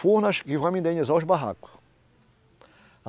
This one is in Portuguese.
Furnas e vão me indenizar os barracos.